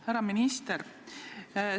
Härra minister!